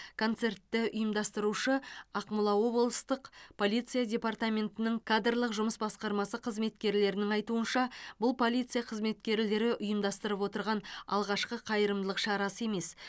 концертті ұйымдастырушы ақмола облыстық полиция департаментінің кадрлық жұмыс басқармасы қызметкерлерінің айтуынша бұл полиция қызметкелері ұйымдастырып отырған алғашқы қайырымдылық шарасы емес